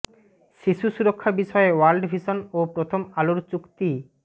শিশু সুরক্ষা বিষয়ে ওয়ার্ল্ড ভিশন ও প্রথম আলোর চুক্তি